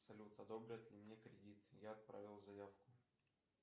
салют одобрят ли мне кредит я отправил заявку